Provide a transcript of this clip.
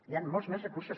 hi han molts més recursos